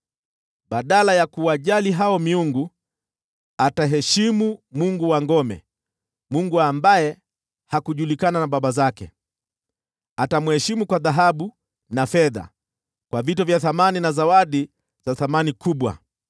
Badala ya kuwajali miungu, ataheshimu mungu wa ngome; mungu ambaye hakujulikana na baba zake ndiye atamheshimu kwa dhahabu na fedha, kwa vito vya thamani na zawadi za thamani kubwa.